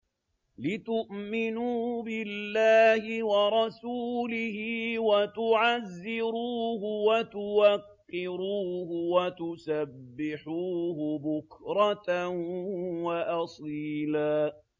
لِّتُؤْمِنُوا بِاللَّهِ وَرَسُولِهِ وَتُعَزِّرُوهُ وَتُوَقِّرُوهُ وَتُسَبِّحُوهُ بُكْرَةً وَأَصِيلًا